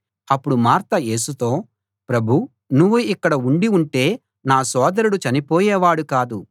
అప్పుడు మార్త యేసుతో ప్రభూ నువ్వు ఇక్కడ ఉండి ఉంటే నా సోదరుడు చనిపోయేవాడు కాదు